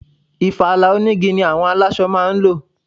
Ìfala onigi ni àwọn aláṣọ máa ń lò.